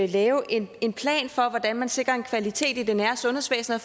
lave en en plan for hvordan man sikrer en kvalitet i det nære sundhedsvæsen og